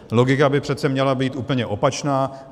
Logika by přece měla být úplně opačná.